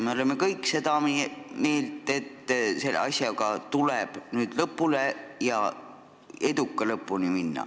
Me oleme kõik seda meelt, et selle asjaga tuleb minna eduka lõpuni.